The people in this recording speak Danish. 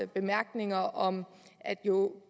bemærkninger om at jo